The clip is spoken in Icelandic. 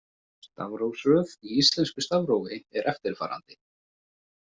Stafrófsröð í íslensku stafrófi er eftirfarandi.